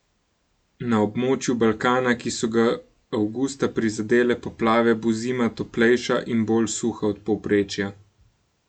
Na območju Balkana, ki so ga avgusta prizadele poplave, bo zima toplejša in bolj suha od povprečja.